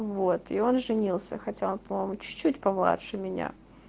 вот и он женился хотя он по-моему чуть-чуть помладше меня